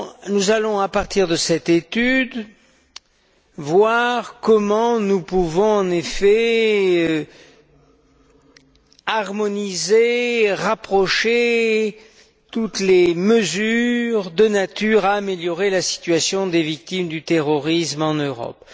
Nous allons, à partir de cette étude, voir comment nous pouvons harmoniser et rapprocher toutes les mesures de nature à améliorer la situation des victimes du terrorisme en Europe.